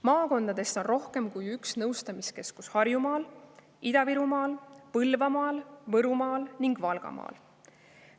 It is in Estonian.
Maakondadest on rohkem kui üks nõustamiskeskus Harjumaal, Ida-Virumaal, Põlvamaal, Võrumaal ning Valgamaal.